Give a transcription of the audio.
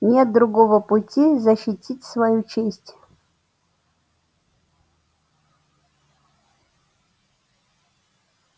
нет другого пути защитить свою честь